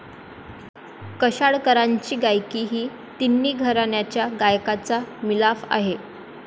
कशाळकरांची गायकी ही तिन्ही घराण्यांच्या गायकाचा मिलाफ आहे.